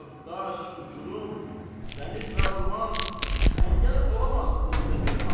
Dağ, daş, uçurum, dəniz və orman, əngəl olamaz önümdə bir an.